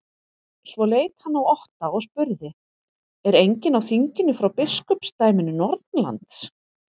Svo leit hann á Otta og spurði:-Er enginn á þinginu frá biskupsdæminu norðanlands?